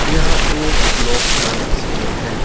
यह एक ब्लॉक का तस्वीर है।